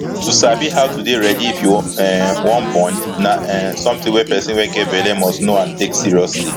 to sabi how to dey ready if you um wan born na um something wey person wey get belle must know n take seriously